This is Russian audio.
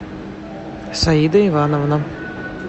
саида ивановна